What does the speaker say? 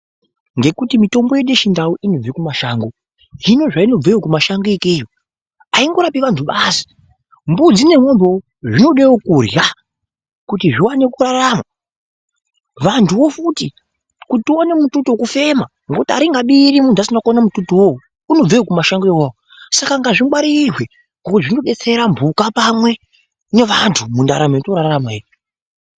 Ngekuti mitombo yedu yechindau inobva kumashango, zvino zvainobva kumashango ikeyo angorapi anthu basi, mbudzi nemombewo zvinodewo kurya kuti zviwane kurarama. Vanthuwo futi kuti tiwane mututu wekufema ngekuti aringabiri muthu asina kuona mututu uwowo unobvewo kumashango iwawo. Saka ngazvingwarirwe ngokuti zvinodetsera mhuka pamwe neanthu mundaramo yatinorarama ino.